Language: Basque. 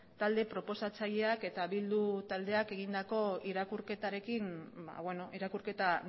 talde proposatzaileak eta bildu taldeak egindako irakurketarekin irakurketa